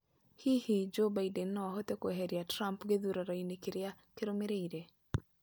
Hihi Joe Biden no ahote kweheria Trump gĩthuranoinĩ kĩrĩa kĩrũmĩrĩire?